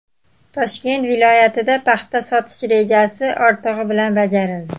Toshkent viloyatida paxta sotish rejasi ortig‘i bilan bajarildi.